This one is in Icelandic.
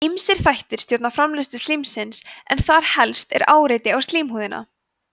ýmsir þættir stjórna framleiðslu slímsins en þar helst er áreiti á slímhúðina